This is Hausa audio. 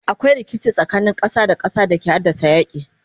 akwai rikici tsakanin ƙasa da ƙasa da ke haddasa yaki